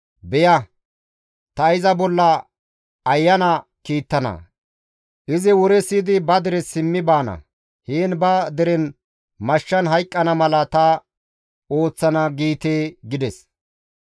Beya, ta iza bolla ayana kiittana; izi wore siyidi ba dere simmi baana; heen ba deren mashshan hayqqana mala ta ooththana› giite» gides.